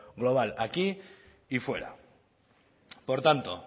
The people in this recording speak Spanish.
global aquí y fuera por tanto